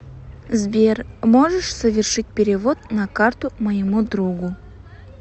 сбер можешь совершить перевод на карту моему другу